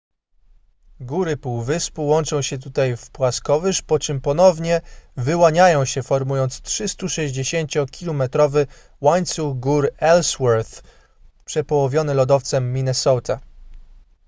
góry półwyspu łączą się tutaj w płaskowyż po czym ponownie wyłaniają się formując 360-kilometrowy łańcuch gór ellsworth przepołowiony lodowcem minnesota